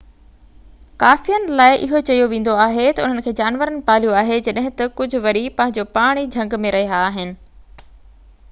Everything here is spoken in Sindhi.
ڪافين لاءِ اهو چيو ويندو آهي ته انهن کي جانورن پاليوآهي جڏهن ته ڪجهہ وري پنهنجو پاڻ ئي جهنگ ۾ رهيا آهن